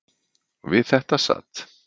Við þetta sat.